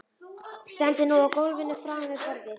Stendur nú á gólfinu framan við borðið.